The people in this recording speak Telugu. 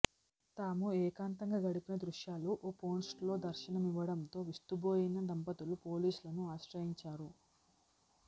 తాము ఏకాంతంగా గడిపిన దృశ్యాలు ఓ పోర్న్సైట్లో దర్శనమివ్వడంతో విస్తుబోయిన దంపతులు పోలీసులను ఆశ్రయించారు